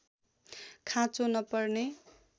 खाँचो नपर्ने